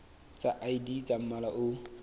tsa id tsa mmala o